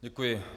Děkuji.